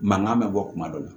Mankan bɛ bɔ kuma dɔ la